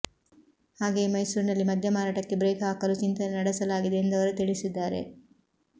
ಹಾಗೆಯೇ ಮೈಸೂರಿನಲ್ಲಿ ಮದ್ಯ ಮಾರಾಟಕ್ಕೆ ಬ್ರೇಕ್ ಹಾಕಲು ಚಿಂತನೆ ನಡೆಸಲಾಗಿದೆ ಎಂದು ಅವರು ತಿಳಿಸಿದ್ದಾರೆ